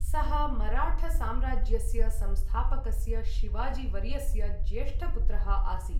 सः मराठसाम्राज्यस्य संस्थापकस्य शिवाजिवर्यस्य ज्येष्ठपुत्रः आसीत्।